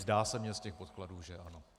Zdá se mně z těch podkladů, že ano.